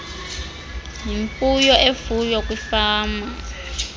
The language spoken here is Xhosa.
yimfuyo efuywa kwifama